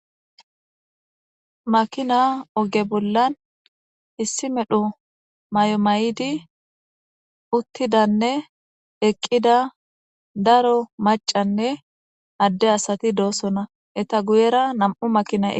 Makina oge bolan issi medho may'o maydi utidane eqida daro mac'ane Ade asati dosona eta guyera nam'u makinay eqis.